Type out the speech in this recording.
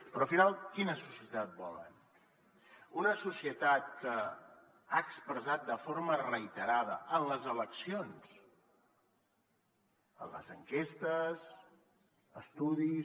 però al final quina societat volen una societat que ha expressat de forma reiterada en les eleccions en les enquestes estudis